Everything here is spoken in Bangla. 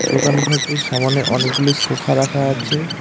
দোকান ঘরটির সামানে অনেকগুলি সোফা রাখা আছে।